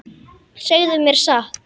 Segðu mér satt.